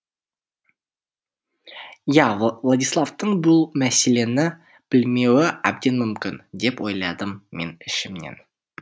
иә владиславтың бұл мәселені білмеуі әбден мүмкін деп ойладым мен ішімнен